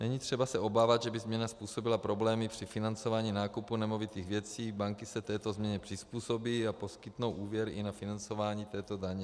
Není třeba se obávat, že by změna způsobila problémy při financování nákupu nemovitých věcí, banky se této změně přizpůsobí a poskytnou úvěr i na financování této daně.